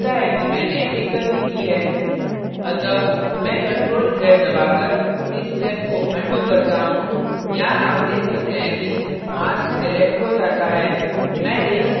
मुझे लगता है कि मैंने एक गलती की है अतः मैं ctrl + z दबाकर इस step को अनडू undo करता हूँ यहाँ आप देख सकते हैं कि mask selected हो जाता है